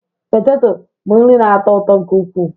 Poteto bụ nri na-atọ ụtọ nke ukwuu